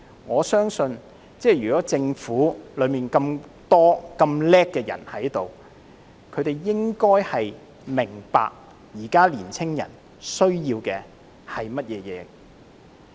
我相信政府內有那麼多聰明能幹的人，應該明白現時年青人需要的是甚麼。